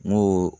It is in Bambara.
N ko